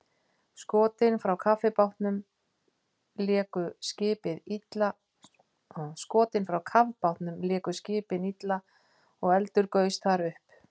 Skotin frá kafbátnum léku skipið illa og eldur gaus þar upp.